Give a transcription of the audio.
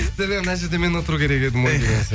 сіздерде мына жерде мен отыру керек едім ғой деген сияқты